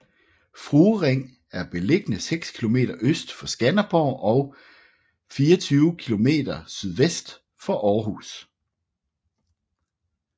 Fruering er beliggende seks kilometer øst for Skanderborg og 24 kilometer sydvest for Aarhus